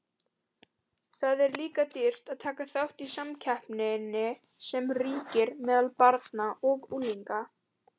Það er líka dýrt að taka þátt í samkeppninni sem ríkir meðal barna og unglinga.